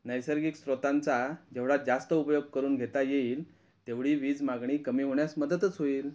नैसर्गिक स्रोतांचा जेवढा जास्त उपयोग करून घेता येईल तेवढी वीज मागणी कमी होण्यास मदतच होईल.